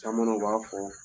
Caman na u b'a fɔ